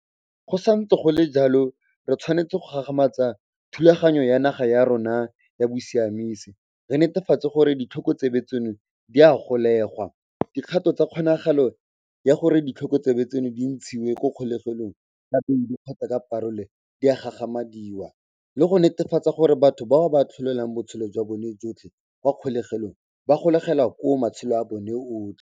Go santse go le jalo, re tshwanetse go gagamatsa thulaganyo ya naga ya rona ya bosiamisi, re netefatse gore ditlhokotsebe tseno di a golegwa, dikgato tsa kgonagalo ya gore ditlhokotsebe tseno di ntshiwe mo kgolegelong ka beili kgotsa ka parola di a gagamadiwa le go netefatsa gore batho bao ba atlholelwang botshelo jwa bone jotlhe kwa kgolegelong ba golegwa koo matshelo a bona otlhe.